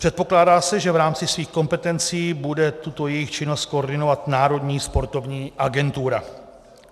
Předpokládá se, že v rámci svých kompetencí bude tuto jejich činnost koordinovat Národní sportovní agentura.